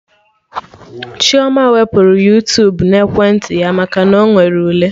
Chioma wepụrụ Yuutubuna ekwentị ya maka na Ọ nwere ule